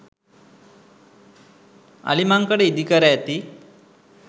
අලිමංකඩ ඉදිකර ඇති